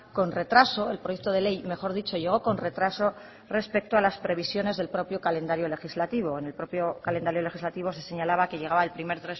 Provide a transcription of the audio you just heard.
con retraso el proyecto de ley mejor dicho llegó con retraso respecto a las previsiones del propio calendario legislativo en el propio calendario legislativo se señalaba que llegaba el primer